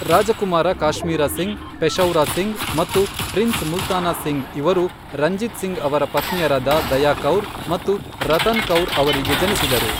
ರಾಜಕುಮಾರ ಕಾಶ್ಮೀರ ಸಿಂಗ್, ಪೆಶೌರಾ ಸಿಂಗ್ ಮತ್ತು ಪ್ರಿನ್ಸ್ ಮುಲ್ತಾನಾ ಸಿಂಗ್ ಇವರು ರಂಜಿತ್ ಸಿಂಗ್ ಅವರ ಪತ್ನಿಯರಾದ ದಯಾ ಕೌರ್ ಮತ್ತು ರತನ್ ಕೌರ್ ಅವರಿಗೆ ಜನಿಸಿದರು.